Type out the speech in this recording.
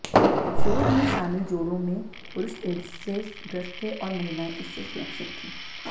शोध में शामिल जोड़ों में पुरुष एड्स से ग्रस्त थे और महिलाएं इससे सुरक्षित थीं